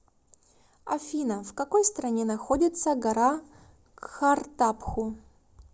афина в какой стране находится гора кхартапху